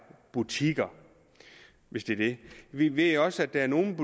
butikker hvis det er det vi ved også at der er nogle